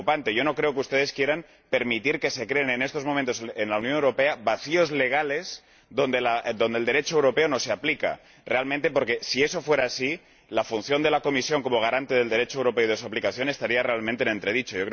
Yo no creo que ustedes quieran permitir que se creen en estos momentos, en la Unión Europea, vacíos legales en los que el Derecho europeo no se aplica. Realmente porque, si eso fuera así, la función de la Comisión como garante del Derecho europeo y de su aplicación estaría realmente en entredicho.